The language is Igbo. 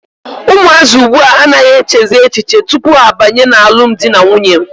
Ụmụazị ugbua a naghị echezi echiche tupu ha abanye n'alụm dị na nwunye.